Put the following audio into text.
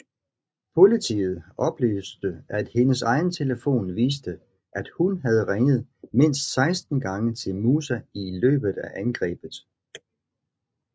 Politiet oplyste at hendes egen telefon viste at hun havde ringet mindst 16 gange til Musa i løbet af angrebet